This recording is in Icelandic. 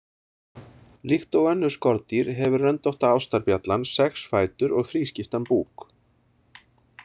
Líkt og önnur skordýr hefur röndótta ástarbjallan sex fætur og þrískiptan búk.